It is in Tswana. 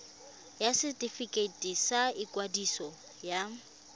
ya setefikeiti sa ikwadiso ya